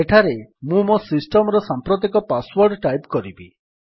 ଏଠାରେ ମୁଁ ମୋ ସିଷ୍ଟମ୍ ର ସାମ୍ପ୍ରତିକ ପାସ୍ ୱର୍ଡ ଟାଇପ୍ କରିବି